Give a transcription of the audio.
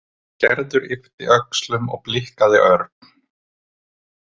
Gerður yppti öxlum og blikkaði Örn.